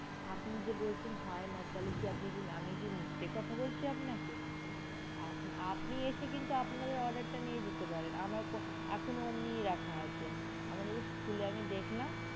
আপনি যে বলছেন হয়না তাহলে আপনি কি আমি কি মিথ্যে কথা বলছি আপনাকে আপনি এসে কিন্তু আপনাদের order টা নিয়ে যেতে পারেন আমার কোনো, এখনো ওমনি রাখা আছে আমি just খুলে একবার দেখলাম।